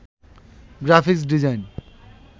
graphics design